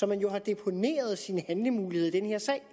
man har deponeret sine handlemuligheder i den her sag